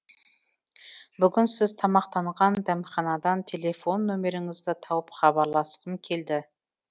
бүгін сіз тамақтанған дәмханадан телефон нөміріңізді тауып хабарласқым келді